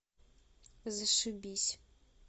зашибись